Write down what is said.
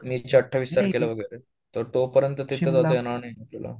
मे ची अठ्ठावीस तारखेला वगैरे तर तो पर्यंत तेथे काही जाता येणार नाही तुला